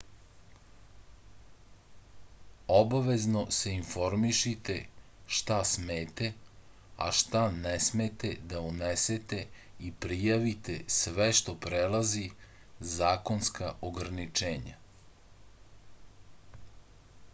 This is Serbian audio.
obavezno se informišite šta smete a šta ne smete da unesete i prijavite sve što prelazi zakonska ograničenja